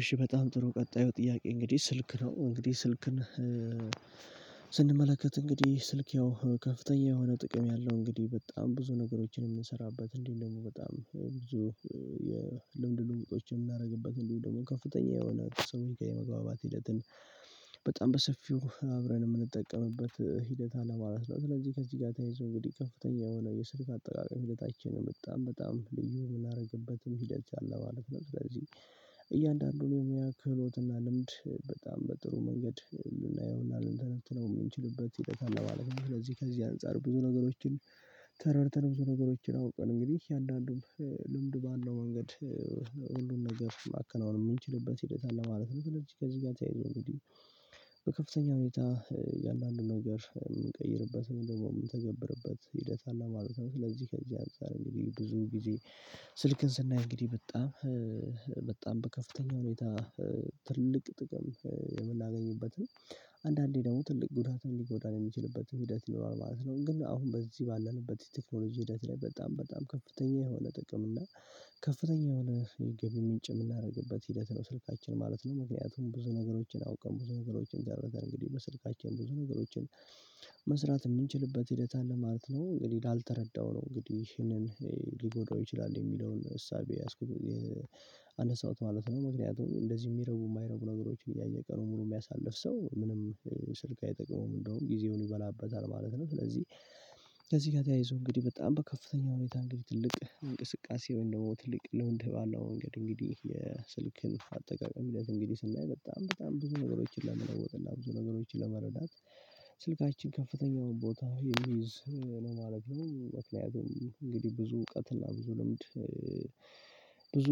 እሺ በጣም ጥሩ። ቀጣዩ ጥያቄ እንግዲህ ስልክ ነው። እንግዲህ ስልክን ስንመለከት እንግዲህ ስልክ ያው ከፍተኛ የሆነ ጥቅም ያለው፣ እንግዲህ በጣም ብዙ ነገሮችን የምንሰራበት፣ እንዲሁም ደግሞ በጣም ብዙ የልምድ ልውውጦችን የምናደርግበት እንዲሁ ደግሞ ከፍተኛ የሆነ ሰው የመግባባት ሂደትን በጣም በሰፊው አብረን የምንጠቀምበት ሂደት አለ ማለት ነው። ስለዚህ ከዚህ ጋር ተያይዞ እንግዲህ ከፍተኛ የሆነ የስልክ አጠቃቀም ሂደታችን በጣም በጣም ልዩ የምናደርግበትም ሂደት አለ ማለት ነው። ስለዚህ እያንዳንዱን የሙያ ክህሎት እና ልምድ በጣም በጥሩ መንገድ ልናየውና ልንተነትነው የምንችልበት ሂደት አለ ማለት ነው። ስለዚህ ከዚህ አንፃር ብዙ ነገሮችን ተረድተን ብዙ ነገሮችን አውቀን እንግዲህ እያንዳንዱም ልምድ ባለው መንገድ ሁሉን ነገር ማከናወን የምንችልበት ሂደት አለ ማለት ነው። ከዚህ ጋር ተያይዞ እንግዲህ በከፍተኛ ሁኔታ የእያንዳንዱን ነገር እምንቀይርበት ወይም ደግሞ የምንተገብርበት ሂደት አለ ማለት ነው። ስለዚህ ከዚህ አንፃር እንግዲህ ብዙ ጊዜ ስልክን ስናይ እንግዲህ በጣም በጣም በከፍተኛ ሁኔታ ትልቅ ጥቅም የምናገኝበት ነው። አንዳንዴ ደግሞ ትልቅ ጉዳትም ሊጎዳን የሚችልበት ሂደት ይኖራል ማለት ነው። ግን አሁን በዚህ ባላለበት የቴክኖሎጂ ሂደት ላይ በጣም በጣም ከፍተኛ የሆነ ጥቅም እና ከፍተኛ የሆነ የገባ ምንጭ የምናደርግበት ሂደት ነው ስልካችን ማለት ነው። ምክንያቱም ብዙ ነገሮችን አውቀን፣ ብዙ ነገሮችን ተረደን እንግዲህ በስልካቸው ብዙ ነገሮችን መስራት የምንችልበት ሂደት አለ ማለት ነው። እንግዲህ ላልተረዳው ነው እንግዲህ ይሄንን ሊጎድረው ይችላል የሚለውን እሳቤ የያዝኩት ያነሳሁት ማለት ነው። ምክንያቱም እንደዚህ የሚረቡ የማይረቡ ነገሮች እያየ ቀኑን ሙሉ የሚያሳልፍ ሰው ምንም ስልክ አይጠቅመውም። እንደውም ጊዜውን ይበላበታል ማለት ነው። ስለዚህ ከዚህ ጋር ተያይዞ እንግዲህ በጣም በከፍተኛ ሁኔታ እንግዲህ ትልቅ እንቅስቃሴ ወይም ደግሞ ትልቅ ልምድ ባለው መንገድ እንግዲህ የስልክን አጠቃቀም እንግዲህ ስናይ በጣም በጣም ብዙ ነገሮችን ለመኖር ብዙ ነገሮችን ለመረዳት ስልካችን ከፍተኛ ቦታ የሚይዝ ነው ማለት ነው። ምክንያቱም እንግዲህ ብዙ እውቀት እና ብዙ ልምድ ብዙ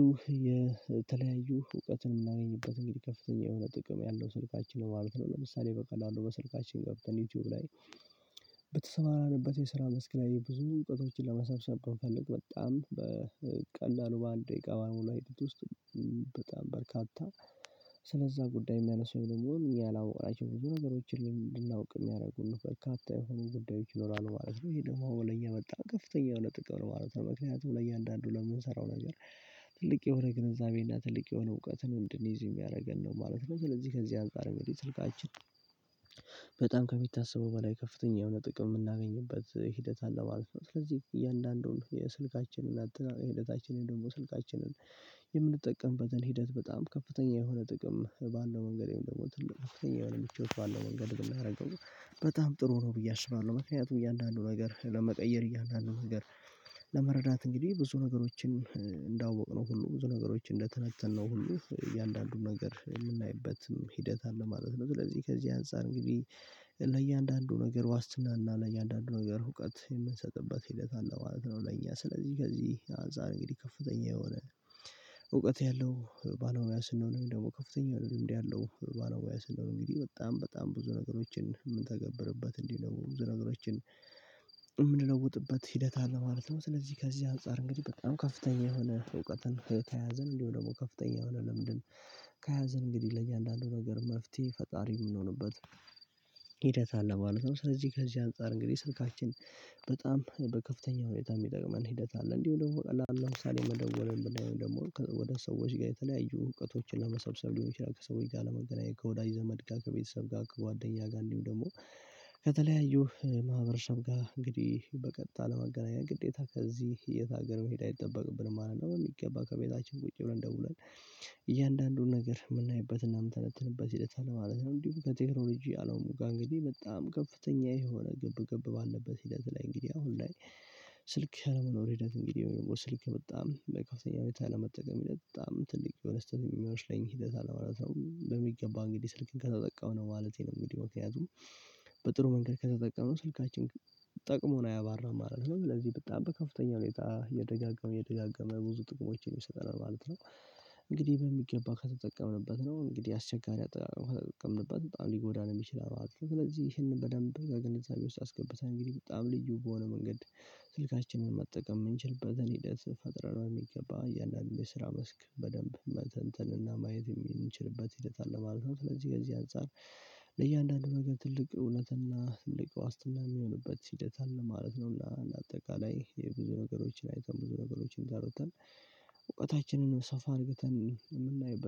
የተለያዩ እውቀትን የምናገኝበት እንግዲህ ከፍተኛ የሆነ ጥቅም ያለው ስልካችን ማለት ነው። ለምሳሌ በቀላሉ በስልካችን ገብተን ዩቲዩብ ላይ በተሰማራንበት የስራ መስክ ላይ ብዙ እውቀቶችን ለመሰብሰብ ብንፈልግ በጣም በቀላሉ በአንድ ደቂቃ ባልሞላ ጊዜ ውስጥ በጣም በርካታ ስለዛ ጉዳይ የሚያነሳው ወይም ደግሞ ያላወቅናቸውን ብዙ ነገሮችን እድናውቅ የሚያደርጉን በርካታ የሆኑ ጉዳዮች ይኖራሉ ማለት ነው። ይሄ ደግሞ ለኛ መጣ ከፍተኛ የሆነ ጥቅም ነው ማለት ነው። ምክንያቱም ለእያንዳንዱ ለምንሰራው ነገር ትልቅ የሆነ ግንዛቤ እና ትልቅ የሆነ እውቀትን እድንይዝ የሚያደርገን ነው ማለት ነው። ስለዚህ ከዚህ አንፃር እንግዲህ ስልካችን በጣም ከሚታሰበው በላይ ከፍተኛ የሆነ ጥቅም የምናገኝበት ሂደት አለ ማለት ነው። ስለዚህ እያንዳንዱን የስልካችንን አጠቃቀም ሂደታችንን ደግሞ ስልካችንን የምንጠቀምበትን ሂደት በጣም ከፍተኛ የሆነ ጥቅም ባለው መንገድንደግሞ ትልቅ ከፍተኛ የሆነ ምቾት ባለው መንገድ ብናደርገው በጣም ጥሩ ነው ብዬ አስባለሁ። ምክንያቱም እያንዳንዱን ነገር ለመቀየር እያንዳንዱ ነገር ለመረዳት እንግዲህ ብዙ ነገሮችን እንዳወቅነው ሁሉ ብዙ ነገሮችን እንደተነተነው ሁሉ እያንዳንዱን ነገር የምናይበትም ሂደት አለ ማለት ነው። ስለዚህ ከዚህ አንፃር እንግዲህ ለእያንዳንዱ ነገር ዋስትና እና ለእያንዳንዱ ነገር እውቀት የምንሰጥበት ሂደት አለ ማለት ነው። ለእኛ ስለዚህ ከዚህ አንፃር እንግዲህ ከፍተኛ የሆነ እውቀት ያለው ባለሙያ ስንሆን ወይም ደግሞ ከፍተኛ የሆነ ልምድ ያለው ባለሙያ ስንሆን እንግዲህ በጣም በጣም ብዙ ነገሮችን የምንተገብርበት እንዲሁም ደግሞ ብዙ ነገሮችን የምንለውጥበት ሂደት አለ ማለት ነው። ስለዚህ ከዚህ አንፃር እንግዲህ በጣም ከፍተኛ የሆነ እውቀትን ተያዘን እንደው ደግሞ ከፍተኛ የሆነ ልምድን ከያዘን እንግዲህ ለእያንዳንዱ ነገር መፍትሄ ፈጣሪ የምንሆንበት ሂደት አለ ማለት ነው። ስለዚህ ከዚህ አንፃር እንግዲህ ስልካችን በጣም በከፍተኛ ሁኔታ የሚጠቅመን ሂደት አለ። እንዲሁ ደግሞ በቀላሉ ለምሳሌ መደወል ወደ ሰዎች ጋር የተለያዩ እውቀቶችን መሰብሰብ ሊሆን ይችላል፣ ከሰዎች ጋር ለመገናኘት፣ ከወዳጅ ዘመድ ጋር፣ ከቤተሰብ ጋር፣ ከጓደኛ ጋር እንዲሁ ደግሞ ከተለያዩ ማህበረሰብ ጋር እንግዲህ በቀጥታ ለመገናኘት ግዴታ ከዚህ እየታገለ መሄድ አይጠበቅብንም ማለት ነው። በሚገባ ከቤታችን ቁጭ ብለን ደውለን እያንዳንዱን ነገር የምናይበትና የምንተነትንበት ሂደት አለ ማለት ነው። እንዲሁም ከቴክኖሎጂ አለሙ ጋር እንግዲህ በጣም ከፍተኛ የሆነ ግብ ግብ ባለበት ሂደት ላይ እንግዲህ አሁን ላይ ስልክ አለመኖር ሂደት እንግዲህ ወይም ደግሞ ስልክ በጣም በከፍተኛ ሁኔታ አለመጠቀም ሂደት በጣም ትልቅ የሆነ ስህተት ነው ሚመስለኝ ሂደት አለ ማለት ነው። በሚገባ እንግዲህ ስልክን ከተጠቀምን ማለቴ ነው እንግዲህ ምክንያቱም በጥሩ መንገድ ከተጠቀሙ ስልካችን ጠቅሞን አያባራም ማለት ነው። ስለዚህ በጣም በከፍተኛ ሁኔታ እየደጋገመ እየደጋገመ ብዙ ጥቅሞችን ይሰጠናል ማለት ነው። እንግዲህ በሚገባ ከተጠቀምንበት ነው። እንግዲህ አስቸጋሪ አጠቃቀም ከተጠቀምንበት በጣም ሊጎዳንም ይችላል ማለት ነው። ስለዚህ ይሄንን በደንብ በግንዛቤ ውስጥ አስገብተን እንግዲህ በጣም ልዩ በሆነ መንገድ ስልካችንን መጠቀም የምንችልበትን ሂደት ፈጥረን በሚገባ ያንዳንዱን የስራ መስክ በደንብ መተንተንና ማየት የምንችልበት ሂደት አለ ማለት ነው። ስለዚህ ከዚህ አንፃር ለእያንዳንዱ ነገር ትልቅ እውነትና ትልቅ ዋስትና የሚሆንበት ሂደት አለ ማለት ነው። ለአጠቃላይ የብዙ ነገሮችን አይተን ብዙ ነገሮችን ተረድተን እውቀታችንን ሰፋ አድርግተን የምናይበት